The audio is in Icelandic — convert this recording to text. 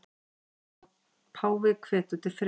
Páfi hvetur til friðar